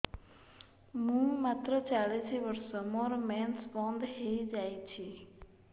ମୁଁ ମାତ୍ର ଚାଳିଶ ବର୍ଷ ମୋର ମେନ୍ସ ବନ୍ଦ ହେଇଯାଇଛି